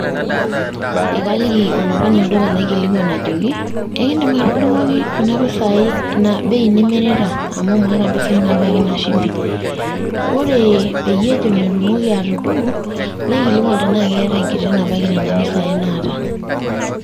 Ekaliki olopeny olduka naikilikwan ajoki, ekiidim atudung'oki kuna pisai ina bei nimirita amu maata mpisai nabaikibina shumbi? Ore peyie ejo metumoki atudung'o, naikilikwan tenaa keeta enkiti nabaiki nena pisai naata.